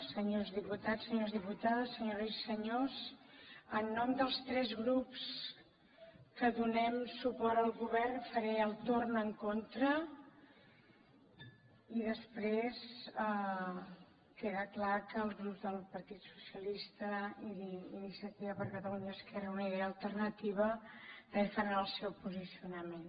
senyors diputats senyores dipu tades senyores i senyors en nom dels tres grups que donem suport al govern faré el torn en contra i després queda clar que els grups del partit socialista i d’iniciativa per catalunya esquerra unida i alternativa també faran el seu posicionament